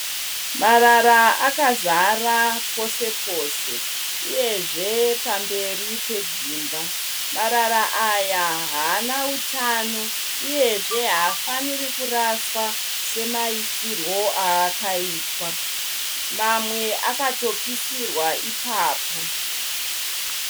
Marara akazara pose pose uyezve pamberi pedzimba. Marara aya haana utano uyezve haafaniri kuraswa semaisirwo aakaita. Mamwe akatopisirwa ipapo.